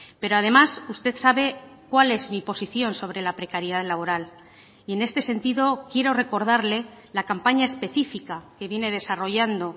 pero además usted sabe cuál es mi posición sobre la precariedad laboral y en este sentido quiero recordarle la campaña específica que viene desarrollando